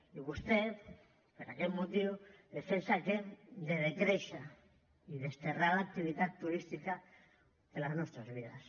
i vostè per aquest motiu defensa que hem de decréixer i desterrar l’activitat turística de les nostres vides